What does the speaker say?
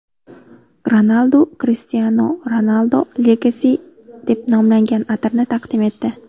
Ronaldu Cristiano Ronaldo Legacy deb nomlangan atirni taqdim etdi.